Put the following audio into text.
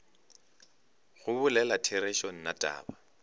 go bolela therešo nna taba